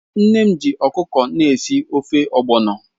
Nne m ji ọkụkọ na-esi ofe ogbọnọ